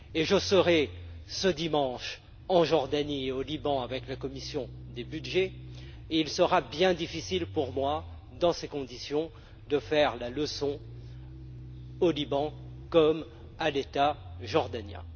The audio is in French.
Je serai ce dimanche en Jordanie et au Liban, avec la commission des budgets, et il me sera bien difficile, dans ces conditions, de faire la leçon tant au Liban qu'à l'État jordanien.